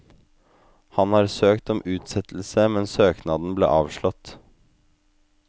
Han har søkt om utsettelse, men søknaden ble avslått.